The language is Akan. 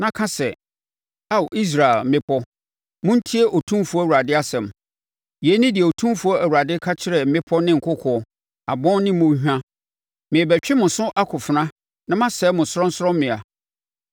na ka sɛ, ‘Ao Israel mmepɔ montie Otumfoɔ Awurade asɛm. Yei ne deɛ Otumfoɔ Awurade ka kyerɛ mmepɔ ne nkokoɔ, abon ne mmɔnhwa: Merebɛtwe mo so akofena na masɛe mo sorɔnsorɔmmea.